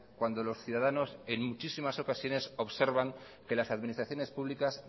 cuando los ciudadanos en muchísimas ocasiones observan que las administraciones públicas